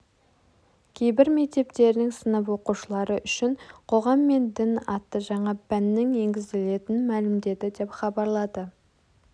кейбір мектептерінің сынып оқушылары үшін қоғам мен дін атты жаңа пәннің енгізілетінін мәлімдеді деп хабарлады